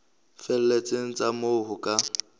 felletseng tsa moo ho ka